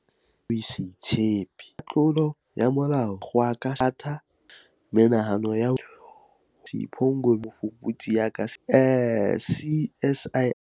"E ka baka le ho se itshepe, diketso tsa tlolo ya molao, dikgoka sekolong, mathata lapeng le menahano ya ho ipolaya," ho hlalosa Sipho Ngobeni eo e leng mofuputsi ya ka sehloohong CSIR.